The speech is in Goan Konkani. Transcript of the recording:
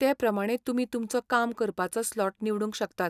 ते प्रमाणें तुमी तुमचो काम करपाचो स्लॉट निवडूंक शकतात.